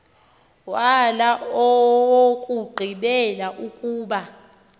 wala owokugqibela ukuba